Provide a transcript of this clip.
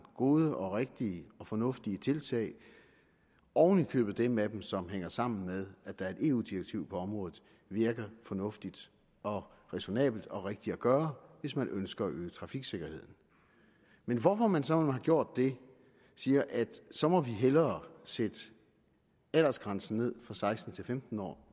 gode og rigtige og fornuftige tiltag oven i købet dem af dem som hænger sammen med at der er et eu direktiv på området virker fornuftige og ræsonnable og rigtige at gøre hvis man ønsker at øge trafiksikkerheden men hvorfor man så når man har gjort det siger at så må vi hellere sætte aldersgrænsen ned fra seksten til femten år